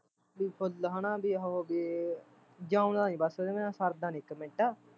ਵੀ ਫੁੱਲ ਹੈਨਾ ਵੀ ਉਹ ਬਈ ਜਿਓਂਦਾਂ ਨੀ ਬਸ ਇਹਦੇ ਬਿਨਾਂ ਸਰਦਾ ਨੀ ਇੱਕ ਮਿੰਟ